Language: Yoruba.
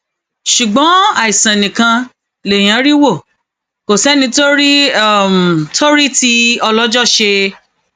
ṣùgbọn àìsàn nìkan lèèyàn rí wò kò sẹni tó rí tó rí tí ọlọjọ ṣe